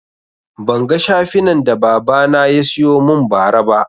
Ban ga shafinan da baba na yasiyo mun ba ra ba